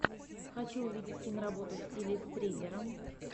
хочу увидеть киноработу в стиле триллера